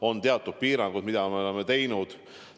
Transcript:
On teatud piirangud, mida me oleme teinud.